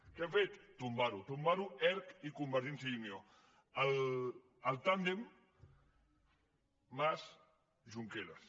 què han fet tombar ho tombar ho erc i convergència i unió el tàndem mas junqueras